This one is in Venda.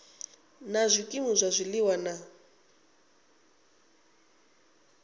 na zwikimu zwa zwiliwa na